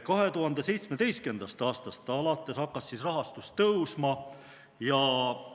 2017. aastast alates hakkas rahastus tõusma,